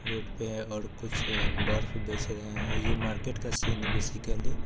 Road पे है और कुछ है बर्फ बेच रहे है ये मार्केट का सीन है बेसिकली। --